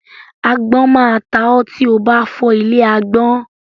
Agbọ́n máa ta ọ́ tí o bá fọ́ ilé agbọ́n.